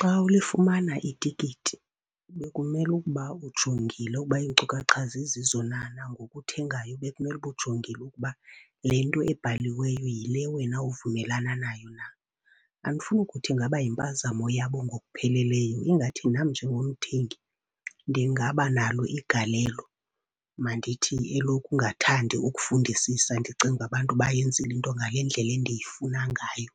Xa ulifumana itikiti bekumele ukuba ujongile ukuba iinkcukacha zizizo na. Nangoku uthengayo bekumele uba ujongile ukuba le nto ebhaliweyo yile wena uvumelana nayo na. Andifuni kuthi ingaba yimpazamo yabo ngokupheleleyo, ingathi nam njengomthengi ndingaba nalo igalelo. Mandithi elokungathandi ukufundisisa, ndicinge uba abantu bayenzile into ngale ndlela endiyifuna ngayo.